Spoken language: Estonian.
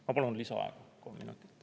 Ma palun lisaaega kolm minutit.